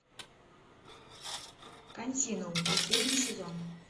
континуум последний сезон